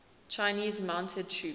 chinese mounted troops